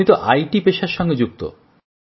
আপনি তো তথ্যপ্রযুক্তির পেশার সাথে যুক্ত